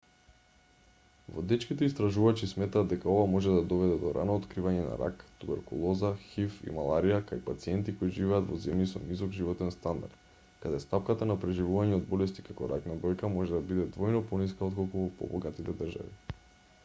водечките истражувачи сметаат дека ова може да доведе до рано откривање на рак туберколоза хив и маларија кај пациенти кои живеат во земји со низок животен стандард каде стапката на преживување од болести како рак на дојка може да биде двојно пониска отколку во побогатите држави